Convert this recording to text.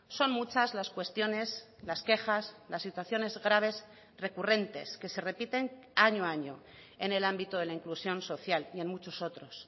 son muchas las cuestiones las quejas las situaciones graves recurrentes que se repiten año a año en el ámbito de la inclusión social y en muchos otros